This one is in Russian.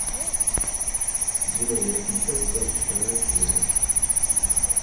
белый воротничок двадцать вторая серия